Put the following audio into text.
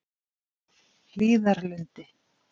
Hlíðarlundi